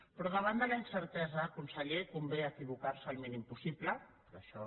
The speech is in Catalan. però davant de la incertesa conseller convé equivocar se el mínim possible però això